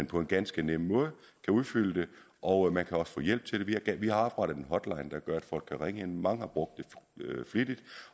på en ganske nem måde udfylde det og man kan også få hjælp til det vi har oprettet en hotline hvor folk kan ringe ind og mange har brugt den flittigt